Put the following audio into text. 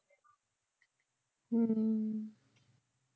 ਹਮ